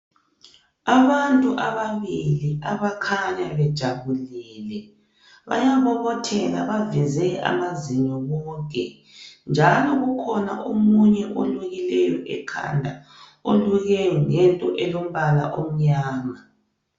Abantu ababili abakhanya bejabulile. Bayabobothela baveze amazinyo bonke njalo kukhona omunye olukileyo ekhanda, oluke ngento elombala omnyama.